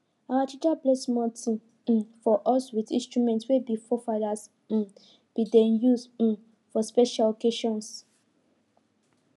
our teacher play something um for us with instrument wey we forefathers um bin dey use um for special occassions